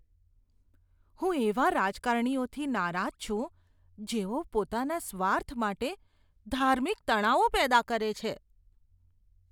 હું એવા રાજકારણીઓથી નારાજ છું, જેઓ પોતાના સ્વાર્થ માટે ધાર્મિક તણાવો પેદા કરે છે.